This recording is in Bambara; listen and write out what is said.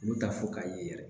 Olu t'a fɔ k'a ye yɛrɛ